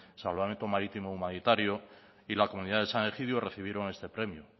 salvamento marítimo humanitario y la comunidad de san egidio recibieron este premio